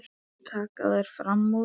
Svo taka þær fram úr.